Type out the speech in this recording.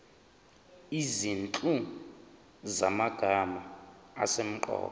izinhlu zamagama asemqoka